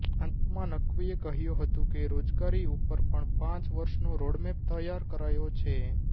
અંતમાં નકવીએ કહ્યું હતું કે રોજગારી ઉપર પણ પાંચ વર્ષનો રોડમેપ તૈયાર કરાયો છે